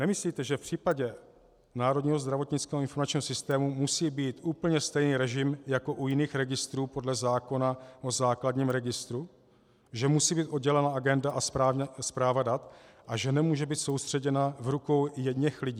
Nemyslíte, že v případě Národního zdravotnického informačního systému musí být úplně stejný režim jako u jiných registrů podle zákona o základním registru, že musí být oddělena agenda a správa dat a že nemůže být soustředěna v rukou jedněch lidí?